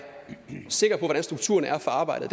sikre på hvordan strukturerne er for arbejdet